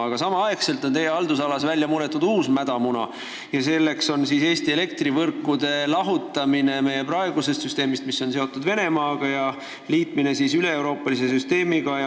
Aga samal ajal on teie haldusalas välja munetud uus mädamuna: see on Eesti elektrivõrkude lahutamine meie praegusest süsteemist, mis on seotud Venemaaga, ja liitmine üleeuroopalise süsteemiga.